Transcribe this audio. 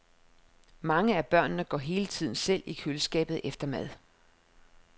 Mange af børnene går hele tiden selv i køleskabet efter mad.